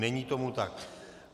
Není tomu tak.